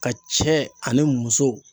Ka cɛ ani muso.